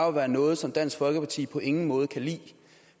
at være noget som dansk folkeparti på ingen måde kan lide